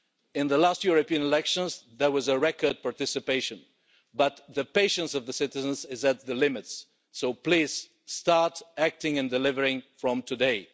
In the last European elections there was record participation, but the patience of citizens is at its limits, so please start acting and delivering from today.